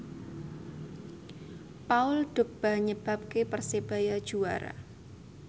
Paul Dogba nyebabke Persebaya juara